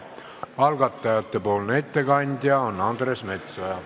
Algatajate ettekandja on Andres Metsoja.